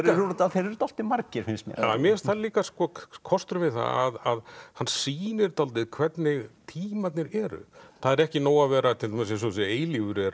þeir eru dálítið margir finnst mér mér finnst það líka kosturinn við það að hann sýnir dálítið hvernig tímarnir eru það er ekki nóg að vera til dæmis eins og þessi eilífur er